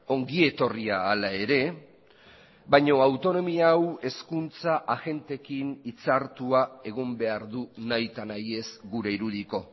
ongi etorria hala ere baina autonomia hau hezkuntza agenteekin hitzartua egon behar du nahita nahiez gure irudiko